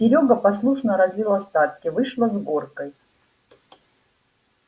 серёга послушно разлил остатки вышло с горкой